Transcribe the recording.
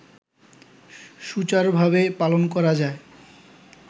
সুচারুভাবে পালন করা যায়